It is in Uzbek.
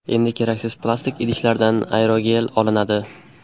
Endi keraksiz plastik idishlardan aerogel olinadi.